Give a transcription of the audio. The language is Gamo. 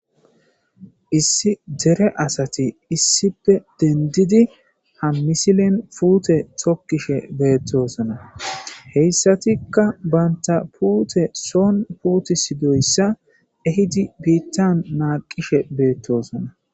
issi dere asati issipe dendidi hammisilen puute tokkishe beettosona heyssatikka banta puute soon puutis doyssa ehidi biittan maaqishe beettosona